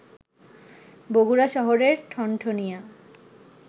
বগুড়া শহরের ঠনঠনিয়া